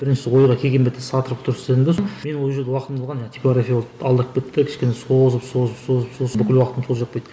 бірінші ойға келген бетте сатыр күтір істедім де мен ол жерде уақытымды алған типографиялық алдап кетті кішкене созып созып созып созып сосын бүкіл уақытымды сол жеп қойды